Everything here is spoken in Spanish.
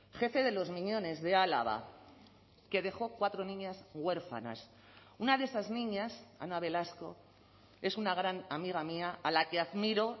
jefe de los miñones de álava que dejó cuatro niñas huérfanas una de esas niñas ana velasco es una gran amiga mía a la que admiro